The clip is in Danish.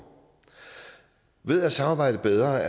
ved at samarbejde bedre